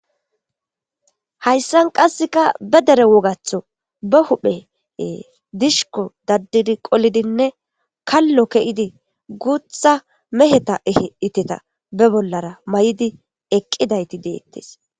Hayssan qasseka be dere wogatho ba huphe dishiko daddidi qolidinne kallo ke7idi guutha meheta ehe iteta be bollara may7idi eqqidayti deettes.